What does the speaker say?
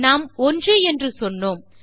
நாம் 1 என்று சொன்னோம்